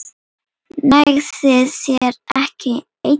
Nægði þér ekki ein?